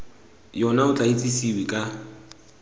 yona o tla itsesewe ka